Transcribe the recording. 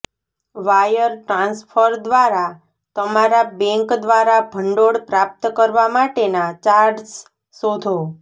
wire transfer દ્વારા તમારા bank દ્વારા ભંડોળ પ્રાપ્ત કરવા માટેના ચાર્જ્સ શોધો